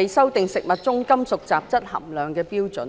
以修訂食物中金屬雜質含量的標準。